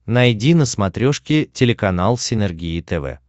найди на смотрешке телеканал синергия тв